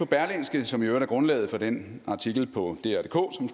berlingske som i øvrigt er grundlaget for den artikel på drdk